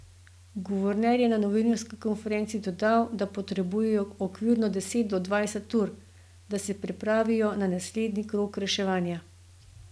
Guverner je na novinarski konferenci dodal, da potrebujejo okvirno deset do dvajset ur, da se pripravijo na naslednji krog reševanja.